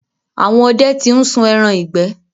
Àwọn ọdẹ ti ń sun ẹran ìgbẹ́.